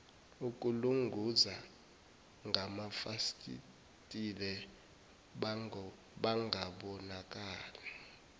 ukulunguza ngamafasitela bangabonakali